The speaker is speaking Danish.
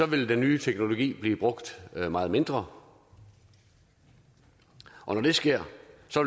vil den nye teknologi blive brugt meget mindre og når det sker